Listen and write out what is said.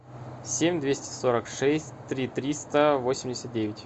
семь двести сорок шесть три триста восемьдесят девять